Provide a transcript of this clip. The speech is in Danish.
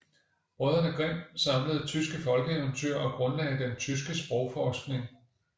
Brødrene Grimm samlede tyske folkeeventyr og grundlagde den tyske sprogforskning